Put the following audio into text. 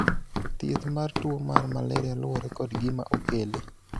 thieth mar tuo mar maleria luwore kod gima okele